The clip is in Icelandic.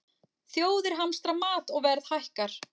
Þjóðir hamstra mat og verð hækkar